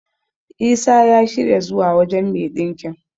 Isa ya shirya zuwa wajen me ɗinkin.